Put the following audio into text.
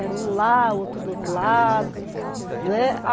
Era um lá, outro do outro lado. né